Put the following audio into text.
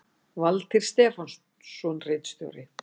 Valtýr Stefánsson ritstjóri